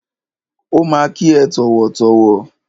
Ó ma kí ẹ tọ̀wọ̀tọ̀wọ̀.